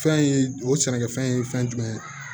Fɛn ye o sɛnɛkɛfɛn ye fɛn jumɛn ye